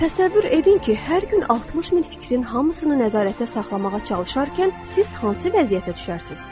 Təsəvvür edin ki, hər gün 60 min fikrin hamısını nəzarətdə saxlamağa çalışarkən siz hansı vəziyyətə düşərsiz?